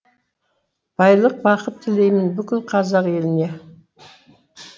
байлық бақыт тілеймін бүкіл қазақ еліне